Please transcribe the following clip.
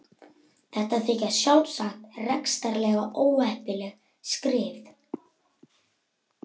Þetta þykja sjálfsagt rekstrarlega óheppileg skrif.